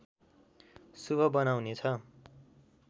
शुभ बनाउनेछ